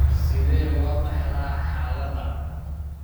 Sidee loo dhaxlaa xaaladdan?